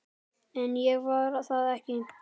En ég var það ekki.